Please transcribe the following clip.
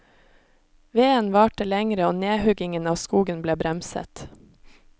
Veden varte lengre og nedhuggingen av skogen ble bremset.